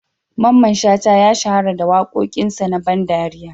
Mamman Shata ya shahara da wakokin sa na ban ɗariya.